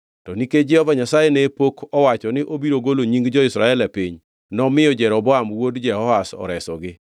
To nikech Jehova Nyasaye ne pok owacho ni obiro golo nying jo-Israel e piny, nomiyo Jeroboam wuod Jehoash oresogi.